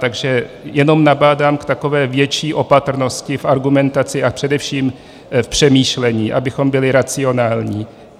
Takže jenom nabádám k takové větší opatrnosti v argumentaci a především v přemýšlení, abychom byli racionální.